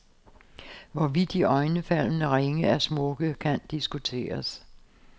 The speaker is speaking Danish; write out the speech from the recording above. Hvorvidt disse iøjnefaldende ringe er smukke, kan diskuteres.